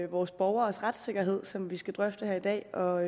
vores borgeres retssikkerhed som vi skal drøfte her i dag og